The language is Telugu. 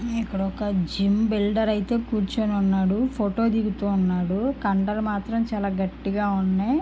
ఉమ్మ్ ఇక్కడ ఒక జిమ్ బిల్డర్ ఐతె కూర్చొని ఉన్నాడు. ఫోటో దిగుతూ ఉన్నాడు. కండలు మాత్రం చాలా గట్టిగ ఉన్నాయి.